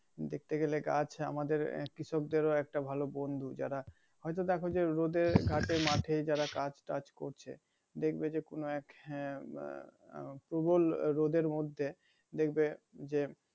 দেখতে গেলে গাছ আমাদের কৃষকদের ও একটা ভালো বন্ধু যারা হয়তো দেখো যে রোদে ঘাটে মাঠে যারা কাজ টাজ করছে দেখবে যে কোন এক হ্যাঁ বা উম প্রবল রোদের মধ্যে দেখবে যে